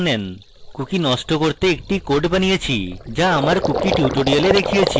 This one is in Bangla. cookie নষ্ট করতে একটি code বানিয়েছি যা আমার cookie tutorial দেখিয়েছি